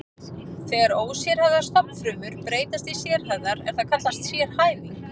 Þegar ósérhæfðar stofnfrumur breytast í sérhæfðar er það kallað sérhæfing.